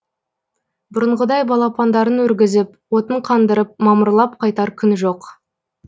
бұрынғыдай балапандарын өргізіп отын қандырып мамырлап қайтар күн жоқ